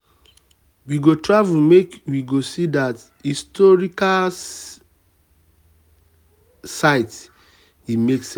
we go travel make we go see dat historical see dat historical site e make sense.